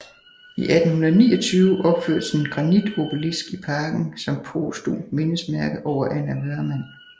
I 1829 opførtes en granitobelisk i parken som posthumt mindesmærke over Anna Wöhrmann